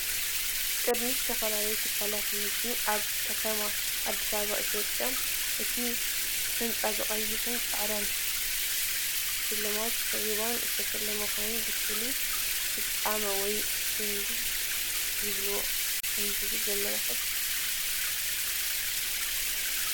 ቅድሚት ዝተፈላለዩ ትካላት ንግዲ ኣብ ከተማ ኣዲስ ኣበባ ኢትዮጵያ። እቲ ህንጻ ብቐይሕን ጻዕዳን ሽልማት ሪባን ዝተሸለመ ኮይኑ፡ ንፍሉይ ፍጻመ ወይ ጽምብል ይዳሎ ከምዘሎ ዘመልክት እዩ።